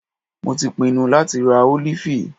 Mo tí pinnu láti rá ólífì.